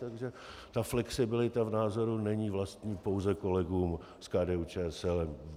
Takže ta flexibilita v názoru není vlastní pouze kolegům z KDU-ČSL.